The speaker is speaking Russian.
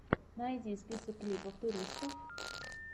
найди список клипов туристов